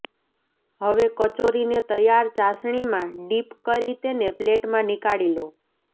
હવે કચોરીને તૈયાર ચાસણીમાં ડિપ કરી તેને પ્લેટમાં નીકાળી લો